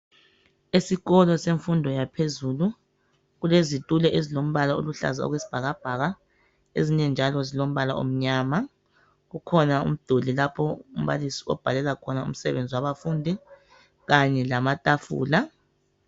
Esikolo semfundo yaphezulu kulezitulo ezilombala oluhlaza okwesibhakabhaka ezinye njalo zilombala omnyama. Kukhona umduli lapho umbalisi obhalela khona umsebenzi wabafundi kanye lamatafula.